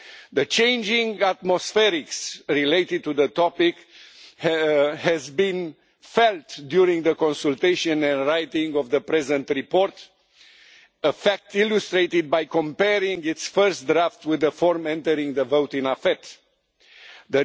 The changing atmosphere related to the topic has been felt during the consultation and writing of the present report, a fact illustrated by comparing its first draft with the version used for the vote in the Committee on Foreign Affairs.